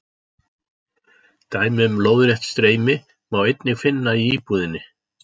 Dæmi um lóðrétt streymi má einnig finna í íbúðinni.